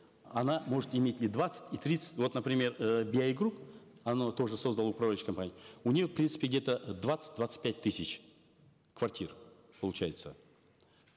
она может иметь и двадцать и тридцать вот например э би ай групп оно тоже создало управляющую компанию у них в принципе где то двадцать двадцать пять тысяч квартир получается